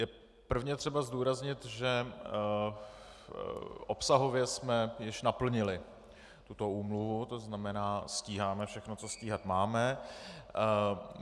Je prvně třeba zdůraznit, že obsahově jsme již naplnili tuto úmluvu, to znamená, stíháme všechno, co stíhat máme.